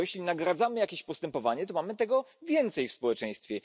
Bo jeśli nagradzamy jakieś postępowanie, to mamy tego więcej w społeczeństwie.